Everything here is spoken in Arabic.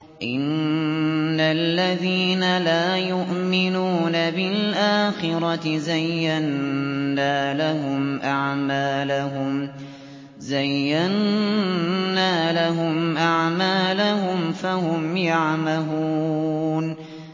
إِنَّ الَّذِينَ لَا يُؤْمِنُونَ بِالْآخِرَةِ زَيَّنَّا لَهُمْ أَعْمَالَهُمْ فَهُمْ يَعْمَهُونَ